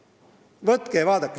Võtke ja vaadake!